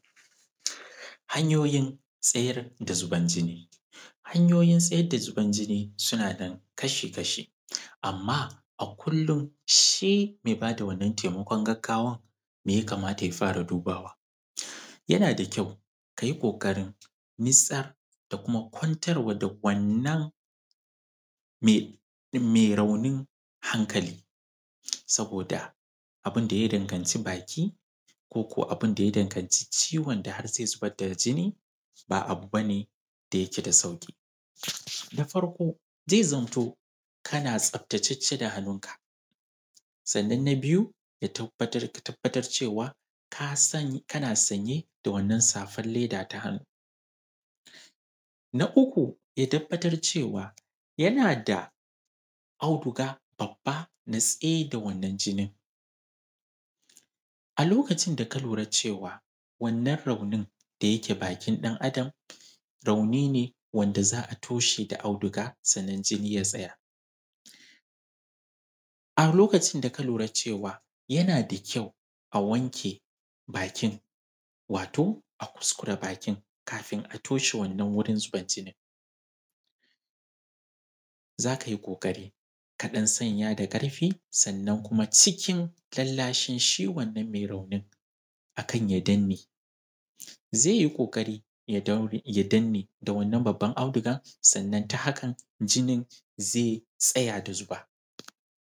Hanyoyin tsayar da zubar jini. Hanyiyin tsayar da zubar jini suna nan kashi-kashi, amma a kullun shi mai ba da wannan taimakon gaggawan, me ya kamata ya fara dubawa? Yana da kyau ka yi ƙoƙarin nitsa da kuma kwantar wa da wannan me raunin hankali, saboda abin da ya danganci baki ko ko abin da ya danganci ciwon da har zai zubar da jinni, ba abu ba ne da yake da sauƙi. Da farko zai zamto, kana tsaftace da hannunka. Sannan na biyu, ka tabbatar cewa ka san kana sanye da wannan safar leda ta hannu. Na uku, ya tabbatar cewa, yana da auduga babba na tsayar da wannan jinin. A lokacin da ka lura cewa, wannan raunin da yake bakin ɗan’adam, rauni ne wanda za a toshe da auduga sannan jini ya tsaya. A lokacin da ka lura cewa, yana da kyau a wanke bakin, wato a kuskure bakin kafin a toshe wannan wurin zubar jinin. Za ka yi ƙoƙari ka ɗan sanya da ƙarfi, sannan kuma cikin lallashi shi wannan mai raunin a kan ya danne. Zai yi ƙoƙari ya danne, da wannan babban audugan, sannan ta hakan jinin zai tsaya da zuba.